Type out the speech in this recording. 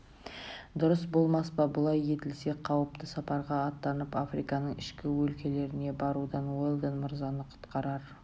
дұрыс болмас па бұлай етілсе қауіпті сапарға аттанып африканың ішкі өлкелеріне барудан уэлдон мырзаны құтқарар